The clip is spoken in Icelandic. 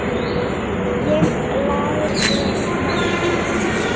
Ég lærði margt.